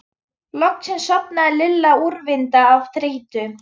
Loksins sofnaði Lilla úrvinda af þreytu.